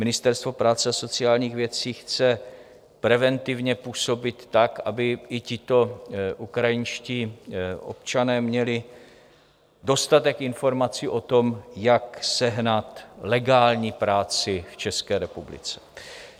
Ministerstvo práce a sociálních věcí chce preventivně působit tak, aby i tito ukrajinští občané měli dostatek informací o tom, jak sehnat legální práci v České republice.